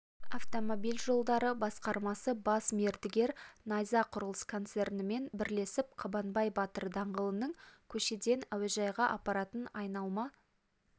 автомобиль жолдары басқармасы бас мердігер найза құрылыс концернімен бірлесіп қабанбай батыр даңғылының көшеден әуежайға апаратын айналма